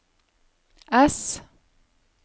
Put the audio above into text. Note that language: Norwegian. S